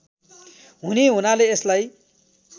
हुने हुनाले यसलाई